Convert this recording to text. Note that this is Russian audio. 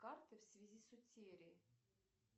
карты в связи с утерей